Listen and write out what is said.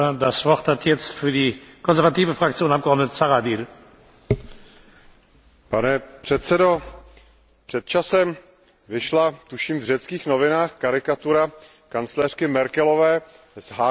Pane předsedající, před časem vyšla, tuším v řeckých novinách, karikatura kancléřky Merkelové s hákovým křížem na rukávě a v německých novinách zase psali něco o tom, že Řekové jsou lenoši.